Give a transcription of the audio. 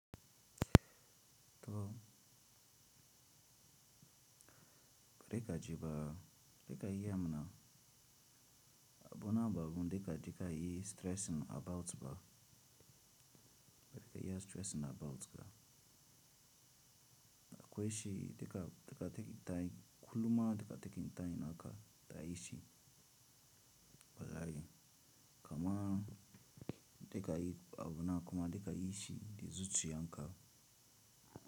Kare ka ji ba, za ka iya ma na abu na babu dika dika yi stressing about ba. Za ka i ya stressing about ba. Akwai shi dika dika taking time, kuluma dika taking time naka ka yi shi. Bala'i kama dika yi abu na kuma dika yi shi, di zuciya nka.